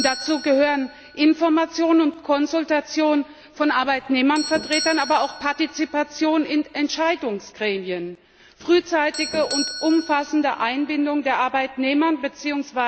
Dazu gehören Information und Konsultation von Arbeitnehmervertretern, aber auch Partizipation in Entscheidungsgremien, frühzeitige und umfassende Einbindung der Arbeitnehmer bzw.